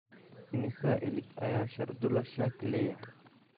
Imisa ilig ayaa shardula shark leeyahay?